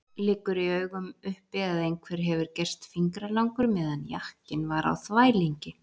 Liggur í augum uppi að einhver hefur gerst fingralangur meðan jakkinn var á þvælingi!